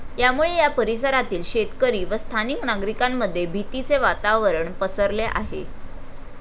यामुळे या परिसरातील शेतकरी व स्थानिक नागरिकांमध्ये भीतीचे वातावरण पसरले आहे.